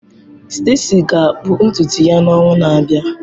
Stacy ga-akpụ ntutu ya n'ọnwa na-abịa.